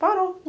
Parou.